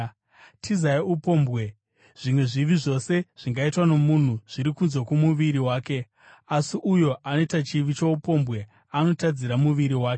Tizai upombwe. Zvimwe zvivi zvose zvingaitwa nomunhu zviri kunze kwomuviri wake, asi uyo anoita chivi choupombwe anotadzira muviri wake.